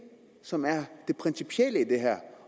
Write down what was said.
som er det principielle i det her